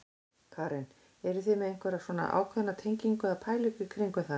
Karen: Eruð þið með einhverja svona ákveðna tengingu eða pælingu í kringum það?